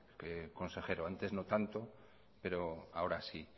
consejero antes no tanto pero ahora sí